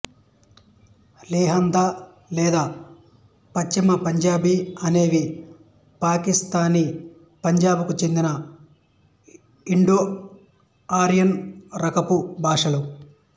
లెహందా లేదా పశ్చిమ పంజాబీ అనేవి పాకిస్థానీ పంజాబ్ కు చెందిన ఇండోఆర్యన్ రకపు భాషలు